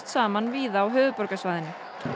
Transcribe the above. saman víða á höfuðborgarsvæðinu